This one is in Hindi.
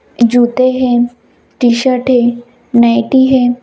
जूते है टी शर्ट है नाईटी है।